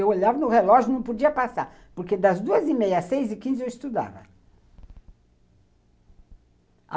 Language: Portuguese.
Eu olhava no relógio e não podia passar, porque das duas e meia às seis e quinze eu estudava.